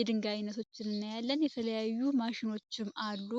የድንጋይ አይነቶችን እና የተለያዩ ማሽኖችም አሉ።